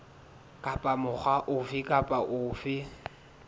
kapa mokga ofe kapa ofe